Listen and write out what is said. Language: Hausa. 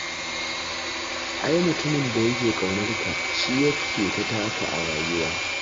Ai mutumin da yake ƙaunar ka shi yake ta taka a rayuwa.